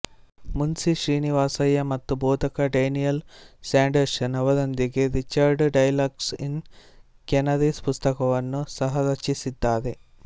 ಮುನ್ಶಿ ಶ್ರೀನಿವಾಸಯ್ಯ ಮತ್ತು ಬೋಧಕ Daniel Sanderson ಅವರೊಂದಿಗೆ ರಿಚರ್ಡ್ ಡೈಲಾಗ್ಸ್ ಇನ್ ಕೆನರೀಸ್ ಪುಸ್ತಕವನ್ನು ಸಹರಚಿಸಿದ್ದಾರೆ